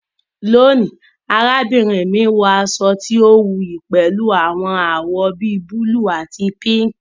Lónìí, arábìnrin mi wọ aṣọ tí ó wuyì pẹ̀lú àwọn àwọ̀ bi búlúù àti píǹǹkì